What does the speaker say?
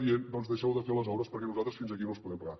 doncs deixeu de fer les obres perquè nosaltres fins aquí no us podem pagar